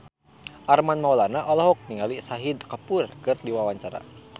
Armand Maulana olohok ningali Shahid Kapoor keur diwawancara